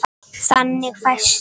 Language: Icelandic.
Þannig fæst